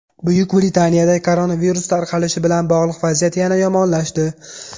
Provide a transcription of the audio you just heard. Buyuk Britaniyada koronavirus tarqalishi bilan bog‘liq vaziyat yana yomonlashdi.